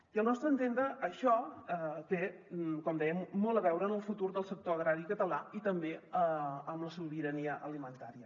i al nostre entendre això té com dèiem molt a veure amb el futur del sector agrari català i també amb la sobirania alimentària